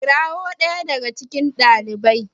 kirawon ɗaya daga cikon daliban